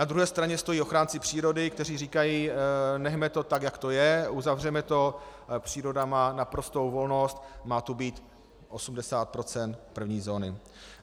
Na druhé straně stojí ochránci přírody, kteří říkají: Nechme to tak, jak to je, uzavřeme to, příroda má naprostou volnost, má to být 80 % první zóny.